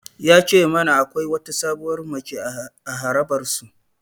Ya ce mana akwai wata sabuwar mace a harabar su.